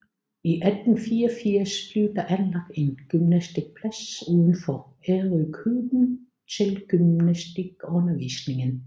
I 1884 blev der anlagt en gymnastikplads uden for Ærøskøbing til gymnastikundervisningen